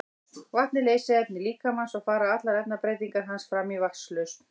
vatn er leysiefni líkamans og fara allar efnabreytingar hans fram í vatnslausn